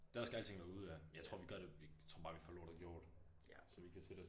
Der skal alting være ude ja. Jeg tror vi gør det jeg tror bare vi får lortet gjort så vi kan sætte os